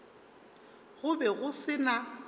go be go se na